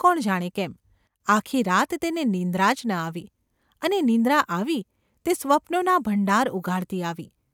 કોણ જાણે કેમ, આખી રાત તેને નિંદ્રા જ ન આવી ! અને નિંદ્રા આવી તે સ્વપ્નોના ભંડાર ઉઘાડતી આવી.